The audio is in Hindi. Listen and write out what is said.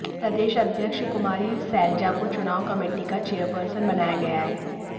प्रदेश अध्यक्ष कुमारी सैलजा को चुनाव कमेटी का चेयरपर्सन बनाया गया है